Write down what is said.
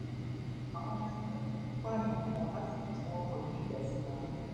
àwọn ọmọ ẹgbẹ òkùnkùn pààyàn kan lásìkò tí wọn kọjú ìjà síra wọn